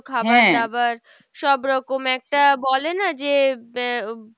খাবার দাবার সব রকম একটা বলে না যে? আহ